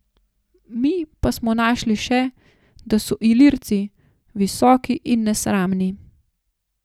Mi pa smo našli še, da so Ilirci, visoki in nesramni.